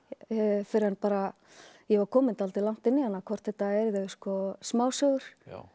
fyrr en bara ég var komin dálítið langt inn í hana hvort þetta yrðu smásögur